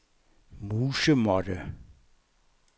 musemåtte